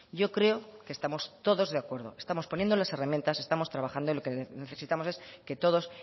yo creo que estamos todos de acuerdo estamos poniendo las herramientas estamos trabajando y lo que necesitamos es que todos